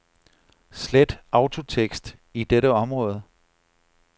Slet autotekst i dette område.